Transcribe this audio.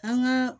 An ka